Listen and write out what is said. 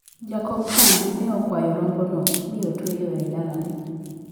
Jakom chadi ne okawo rombono mi otweyo e dalane.